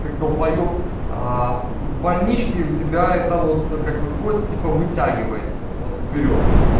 как долбаёб а в больничке у тебя это вот как бы кости по вытягивается вот вперёд